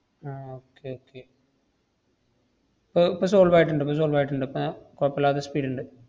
ആഹ് okay okay ഇപ്പൊ ഇപ്പൊ solve ആയിട്ടൊണ്ട്, ~പ്പ solve ആയിട്ടൊണ്ട്. ഇപ്പ~ കൊയപ്പില്ലാത്ത speed ഇണ്ട്.